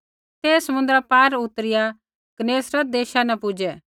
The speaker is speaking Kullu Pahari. ते समुन्द्रा पार उतरिआ गन्नेसरत देशा न पूज़ै